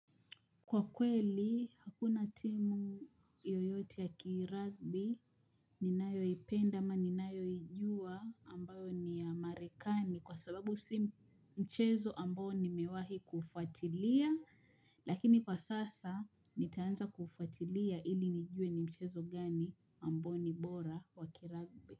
Kwa kweli hakuna timu yoyote ya kiragbi ninayoipenda ama ninayoijua ambayo ni ya marekani kwa sababu si mchezo ambayo nimewahi kufuatilia lakini kwa sasa nitaanza kufuatilia ili nijue ni mchezo gani ambao ni bora wa kiragbi.